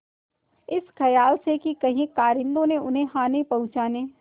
इस खयाल से कि कहीं कारिंदों ने उन्हें हानि पहुँचाने